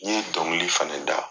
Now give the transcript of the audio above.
Ni ye dɔnkili fɛnɛ da